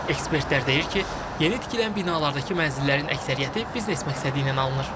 Ekspertlər deyir ki, yeni tikilən binalardakı mənzillərin əksəriyyəti biznes məqsədi ilə alınır.